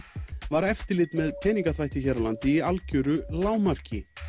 var eftirlit með peningaþvætti hér á landi í algjöru lágmarki